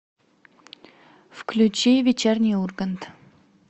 включи вечерний ургант